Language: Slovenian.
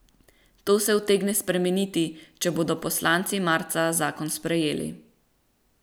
To se utegne spremeniti, če bodo poslanci marca zakon sprejeli.